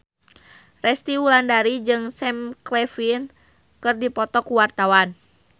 Resty Wulandari jeung Sam Claflin keur dipoto ku wartawan